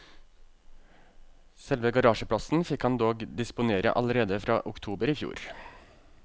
Selve garasjeplassen fikk han dog disponere allerede fra oktober i fjor.